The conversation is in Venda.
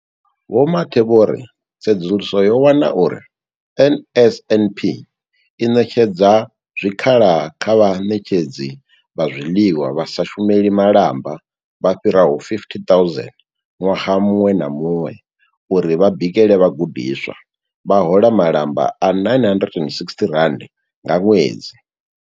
Vho Mathe vho ri, Tsedzuluso yo wana uri NSNP i ṋetshedza zwikhala kha vhaṋetshedzi vha zwiḽiwa vha sa shumeli malamba vha fhiraho 50 000 ṅwaha muṅwe na muṅwe uri vha bikele vhagudiswa, vha hola malamba a R960 nga ṅwedzi.